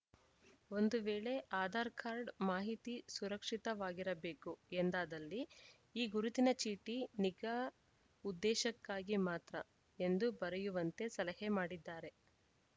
ಒಂದು ವೇಳೆ ಆಧಾರ್‌ ಕಾರ್ಡ್‌ ಮಾಹಿತಿ ಸುರಕ್ಷಿತವಾಗಿರಬೇಕು ಎಂದಾದಲ್ಲಿ ಈ ಗುರುತಿನ ಚೀಟಿ ನಿಗಾ ಉದ್ದೇಶಕ್ಕಾಗಿ ಮಾತ್ರ ಎಂದು ಬರೆಯುವಂತೆ ಸಲಹೆ ಮಾಡಿದ್ದಾರೆ